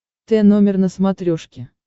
т номер на смотрешке